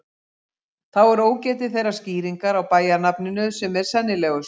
Þá er ógetið þeirrar skýringar á bæjarnafninu sem er sennilegust.